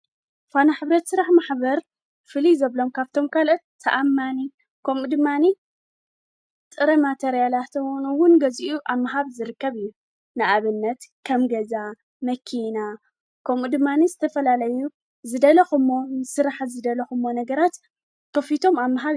ዕቋር፣ ልቓሕ፣ ካልእ ናይ ባንክ ኣገልግሎት ዝህባ ፋይናንሳዊ ትካላት እየን። ባንክታት ብንግዳዊ መሰረት ክሰርሓ እንከለዋ፡ ሕብረት ስራሕ ማሕበራት ድማ ብኣባላተን ዝውነናን ዝቆጻጸራን እየን። ክልቲኦም ንፋይናንሳዊ ድሌታት ውልቀሰባት፡ ትካላት ንግድን ማሕበረሰባትን ይድግፉ።